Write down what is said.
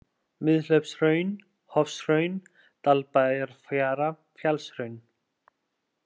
Miðhlaupshraun, Hofshraun, Dalbæjarfjara, Fjallshraun